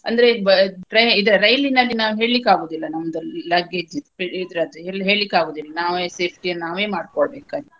ಅಂದ್ರೆ ಬ~ trai~ ಇದ ರೈಲಿನಲ್ಲಿ ನಾವ್ ಹೇಳ್ಲಿಕ್ಕಾಗುವುದಿಲ್ಲ ನಮ್ದು luggage ಇದ್ ಇದ್ರದ್ದು ಇಲ್ದದ್ದು ಇನ್ನೂ ಹೇಳ್ಲಿಕ್ಕ ಆಗುವುದಿಲ್ಲಾ ನಾವೇ safety ನ ನಾವೇ ಮಾಡ್ಕೊ ಬೇಕಾಗುತ್ತೆ.